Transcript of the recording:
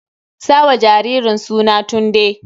Sa wa jaririn suna Tunde!